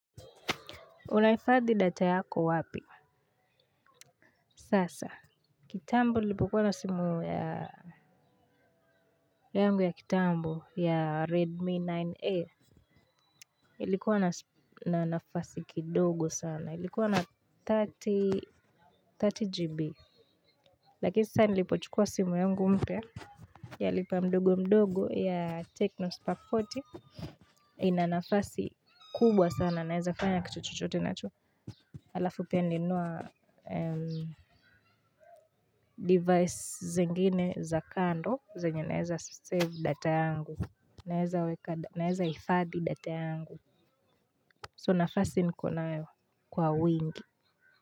Unahifadhi data yako wapi? Sasa. Kitambo nilipokuwa na simu yangu ya kitambo ya Redmi 9A. Ilikuwa na nafasi kidogo sana. Ilikuwa na 30GB. Lakini sasa nilipochukua simu yangu mpya. Ya lipa mdogo mdogo ya Techno Spark arobaini. Inanafasi kubwa sana naeza fanya kitu chochote nacho. Alafu pia nilinunua device zingine za kando. Zenye naeza save data yangu. Naeza hifadhi data yangu So nafasi niko nayo kwa wingi.